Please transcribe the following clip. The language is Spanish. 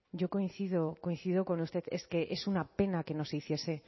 yo coincido coincido con usted es que es una pena que no se hiciese